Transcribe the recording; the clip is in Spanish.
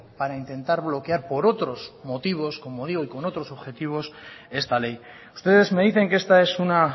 para intentar bloquear por otros motivos como digo y con otros objetivos esta ley ustedes me dicen que esta es una